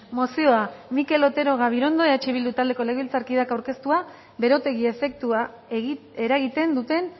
mozioa mikel otero gabirondo eh bildu taldeko legebiltzarkideak aurkeztua berotegi efektua eragiten duten